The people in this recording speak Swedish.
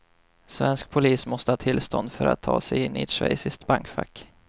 Svensk polis måste ha tillstånd för att ta sig in i ett schweiziskt bankfack.